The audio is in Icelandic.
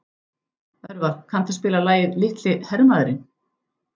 Örvar, kanntu að spila lagið „Litli hermaðurinn“?